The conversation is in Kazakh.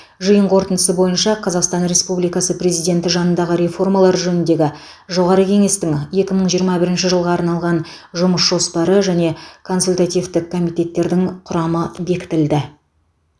жиын қорытындысы бойынша қазақстан республикасы президенті жанындағы реформалар жөніндегі жоғары кеңестің екі мың жиырма бірінші жылға арналған жұмыс жоспары және консультативтік комитеттердің құрамы бекітілді